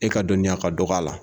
E ka dɔnniya ka dɔgɔ a la.